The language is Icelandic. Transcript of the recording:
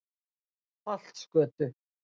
Holtsgötu